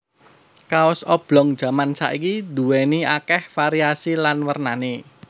Kaos oblong jaman saiki duwéni akéh variasi lan wernané